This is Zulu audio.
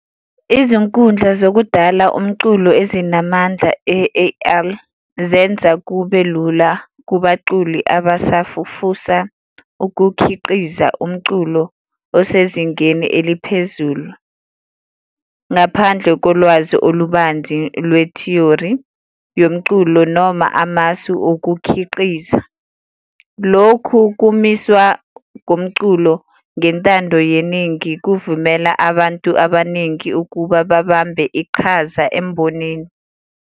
Izinkundla zokudala umculo ezinamandla e-A_I zenza kube lula kubaculi abasafufusa ukukhiqiza umculo osezingeni eliphezulu, ngaphandle kolwazi olubanzi lwethiyori yomculo noma amasu okukhiqiza. lokhu kumiswa komculo ngentando yeningi kuvumela abantu abaningi ukuba babambe iqhaza embonini.